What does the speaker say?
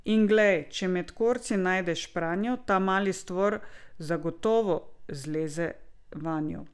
In glej, če med korci najde špranjo, ta mali stvor zagotovo zleze vanjo!